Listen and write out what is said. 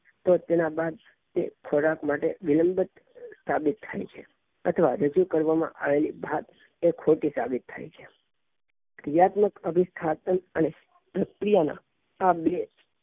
તો તેના બાદ તે થોડા માટે વિલંબિત સાબિત થાય છે તથા રજુ કરવામાં આવેલી વાત એ ખોટી સાબિત થાય છે ક્રિયાત્મક આ બે